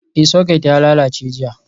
Ee, Socket ya lalace jiya.